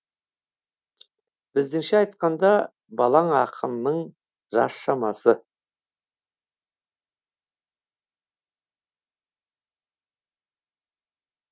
біздіңше айтқанда балаң ақынның жас шамасы